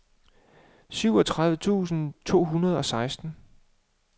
syvogtredive tusind to hundrede og seksten